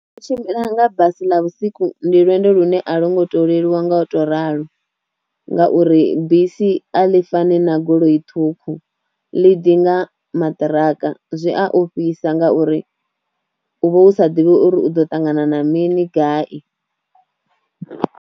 U tshimbila nga basi ḽa vhusiku ndi lwendo lune a lo ngo to leluwa nga u ralo ngauri bisi a ḽi fani na goloi ṱhukhu ḽi ḓi nga maṱiraka zwi a ofhisa ngauri u vha u sa ḓivhi uri u ḓo ṱangana na mini gai.